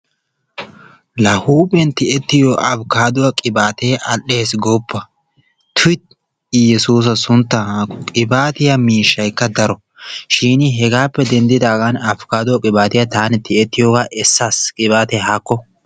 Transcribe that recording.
La huuphiyan tiyettiyo afkkaadduwa qibaatee all"es gooppa tuyi iyyesuusa sunttan haakko qibaatiya miishshaykka daro shin hegaappe denddidaagan afkkaadduwa qibaatiya tiyettiyoogaa taani essaas qibaatee haakko.